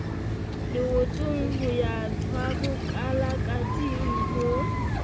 leotong ho ya tswabokalakateng ho